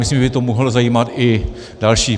Myslím, že by to mohlo zajímat i další.